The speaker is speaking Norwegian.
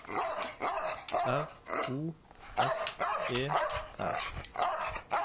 R O S E R